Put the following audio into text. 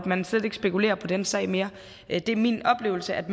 man slet ikke spekulerer på den sag mere det er min oplevelse at